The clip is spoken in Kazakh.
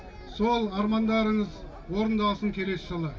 сол армандарыңыз орындалсын келесі жылы